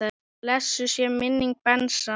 Blessuð sé minning Bensa.